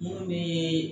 Ne bɛ